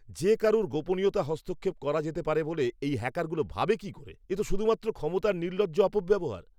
যে কারুর গোপনীয়তায় হস্তক্ষেপ করা যেতে পারে বলে এই হ্যাকারগুলো ভাবে কি করে? এ তো শুধুমাত্র ক্ষমতার নির্লজ্জ অপব্যবহার!